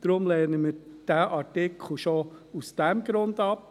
Deshalb lehnen wir diesen Artikel schon aus diesem Grund ab.